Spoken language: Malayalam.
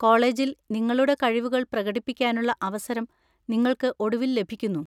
കോളേജിൽ നിങ്ങളുടെ കഴിവുകൾ പ്രകടിപ്പിക്കാനുള്ള അവസരം നിങ്ങൾക്ക് ഒടുവിൽ ലഭിക്കുന്നു.